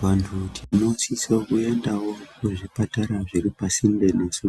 Vantu tinosisawo kuenda kuzvipatara zviri pasinde nesu